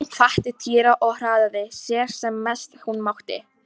Hún hvatti Týra og hraðaði sér sem mest hún mátti.